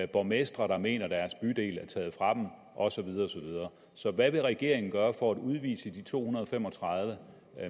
borgmestre der mener at deres bydel er taget fra dem og så videre og så videre så hvad vil regeringen gøre for at udvise de to hundrede og fem og tredive